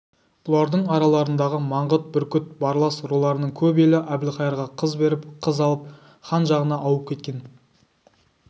бұлардың араларындағы маңғыт бүркіт барлас руларының көп елі әбілқайырға қыз беріп қыз алып хан жағына ауып кеткен